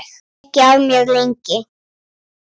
Vissi ekki af mér, lengi.